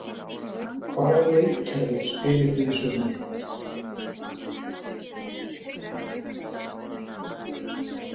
Hvaða leikkerfi spilið þið í sumar?